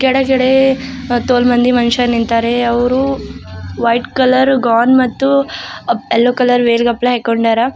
ಮತ್ತು ಅಲ್ಲಿ ಮಂದಿ ಮನ್ಶರ್ ನಿಂತರೆ ಅವರು ವೈಟ್ ಕಲರ್ ಗೌನ್ ಮತ್ತು ಎಲ್ಲೋ ಕಲರ್ ವೇಲ್ ಹಾಕ್ಕೊಂಡವರ.